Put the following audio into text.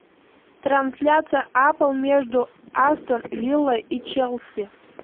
трансляция апл между астон вилла и челси